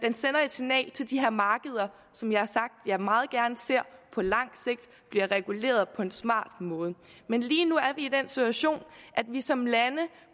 signal til de her markeder som jeg har sagt jeg meget gerne ser på lang sigt bliver reguleret på en smart måde men lige nu er vi i den situation at vi som lande